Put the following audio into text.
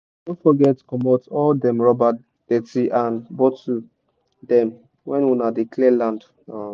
no forget comot all dem rubber dirty and bottle dem when una dey clear land um